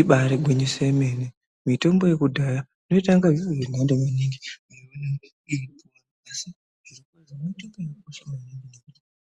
Imbaari gwinyiso remene mitombo yekudhaya inoita inga zviro zvenanto maningi.